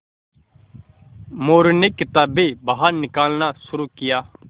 मोरू ने किताबें बाहर निकालना शुरू किया